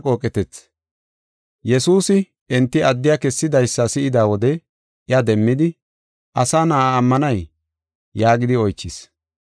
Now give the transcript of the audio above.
Yesuusi enti addiya kessidaysa si7ida wode iya demmidi, “Asa Na7aa ammanay?” yaagidi oychis.